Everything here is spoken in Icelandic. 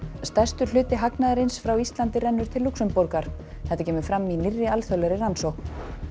stærstur hluti hagnaðarins frá Íslandi rennur til Lúxemborgar þetta kemur fram í nýrri alþjóðlegri rannsókn